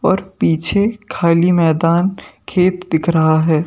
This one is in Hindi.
और पीछे खाली मैदान खेत दिख रहा है।